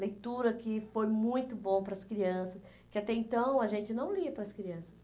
Leitura que foi muito bom para as crianças, que até então a gente não lia para as crianças.